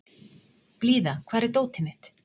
Blíða, hvar er dótið mitt?